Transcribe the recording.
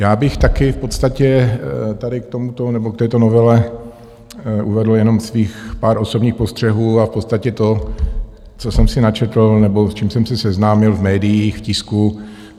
Já bych taky v podstatě tady k tomuto nebo k této novele uvedl jenom svých pár osobních postřehů a v podstatě to, co jsem si načetl nebo s čím jsem se seznámil v médiích, v tisku.